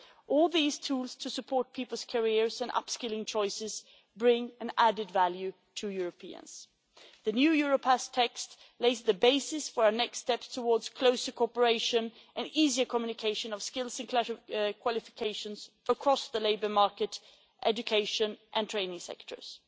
All these tools to support people's careers and upskilling choices bring an added value to Europeans. The new Europass text lays the basis for the next step towards closer cooperation and easier communication of skills and qualifications across the labour market, education and training sectors.